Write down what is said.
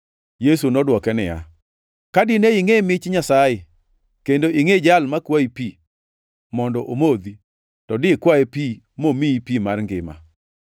Yesu nodwoke niya, “Ka dine ingʼe mich Nyasaye kendo ingʼe jal makwayi pi mondo omodhi, to dikwaye pi momiyi pi mar ngima.”